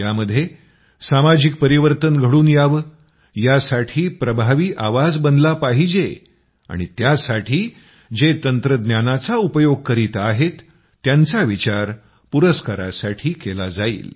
यामध्ये सामाजिक परिवर्तन घडून यावं यासाठी प्रभावी आवाज बनला पाहिजेआणि त्यासाठी जे तंत्रज्ञानाचा उपयोग करीत आहेत यांचा विचार पुरस्कारासाठी केला जाईल